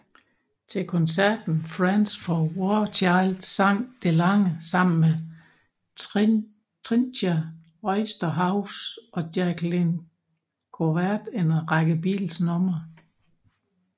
Til koncerten Friends For Warchild sang DeLange sammen med Trijntje Oosterhuis og Jacqueline Govaert en række Beatles numre